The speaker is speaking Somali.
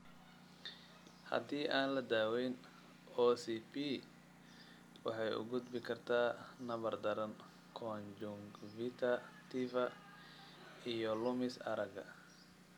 Haddii aan la daweyn, OCP waxay u gudbi kartaa nabar daran conjunctiva iyo lumis aragga.